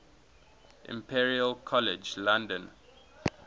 imperial college london